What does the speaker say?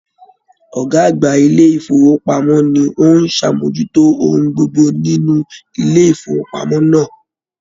Ọgá àgbà ilé ifowopamọ ni o n sàmójútó ohun gbogbo nínú ilé ifowopamọ náà.